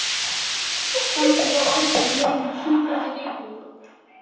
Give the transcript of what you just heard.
Samþykkt á Alþingi lög um sundhöll í Reykjavík.